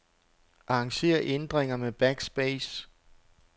Arranger ændringer med backspace.